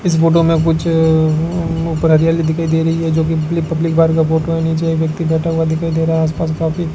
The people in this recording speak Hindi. इस फोटो मे कुछ हरियाली दिखाई दे रही है जो की पब्लिक पार्क का फोटो है नीचे एक व्यक्ति बैठा हुआ दिखाई दे रहा है आस पास काफी --